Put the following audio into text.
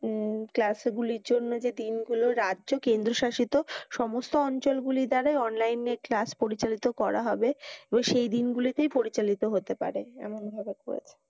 উম class এ ভুলের জন্য যে দিন গুলো রাজ্য কেন্দ্রশাসিত সমস্ত অঞ্চল গুলি তাদের online য়ে class পরিচালিত করা হবে এবং সেই দিন গুলিতেই পরিচালিত হতে পারে। এমন ভাবে করেছে